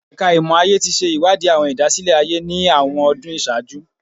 Ẹka Imọ-aye ti ṣe iwadi awọn idasile-aye ni awọn ọdun iṣaaju